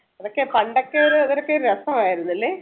അതൊക്കെ പണ്ടൊക്കെ ഒരു ഇതൊക്കെ ഒരു രാസമായിരുന്നല്ലേ